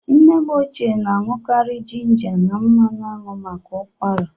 Nne m ochie na-aṅụkarị jịnja na manụ anwụ maka ụkwara.